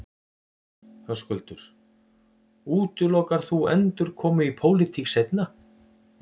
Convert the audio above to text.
Höskuldur: Útilokar þú endurkomu í pólitík seinna?